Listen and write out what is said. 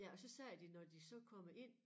Ja og så siger de når de så kommer ind